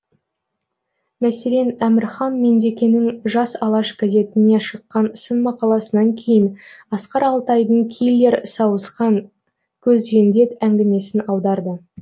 мәселен әмірхан меңдекенің жас алаш газетіне шыққан сын мақаласынан кейін асқар алтайдың киллер сауысқан көзжендет әңгімесін аударды